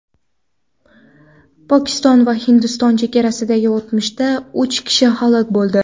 Pokiston va Hindiston chegarasidagi otishmada uch kishi halok bo‘ldi.